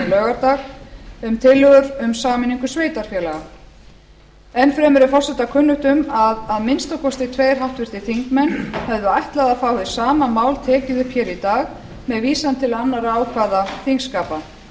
laugardag um tillögur um sameiningu sveitarfélaga enn fremur er forseta kunnugt um að að minnsta kosti höfðu ætlað að fá hið sama mál tekið upp hér í dag með vísan til annarra ákvæða þingskapa